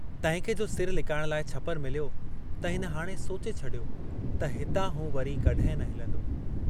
तंहिंखे जो सिरु लिकाइण लाइ छपरु मिलियो त हिन हाणे सोचे छॾियो त हितां हू वरी कहिं न हिलंदो।